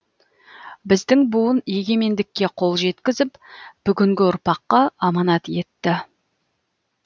біздің буын егемендікке қол жеткізіп бүгінгі ұрпаққа аманат етті